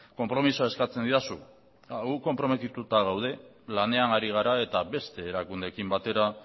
konpromisoa eskatzen didazu gu konprometituta gaude lanean ari gara eta beste erakundeekin batera